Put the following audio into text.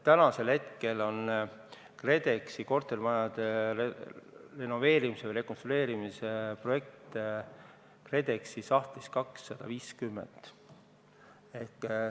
Praegu on kortermajade renoveerimise või rekonstrueerimise projekte KredExi sahtlis 250.